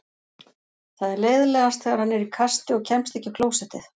Það er leiðinlegast þegar hann er í kasti og kemst ekki á klósettið.